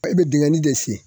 I bɛ dingɛni de sen